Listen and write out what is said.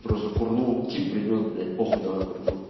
просто курнул тип принёс блять похуй давай курнём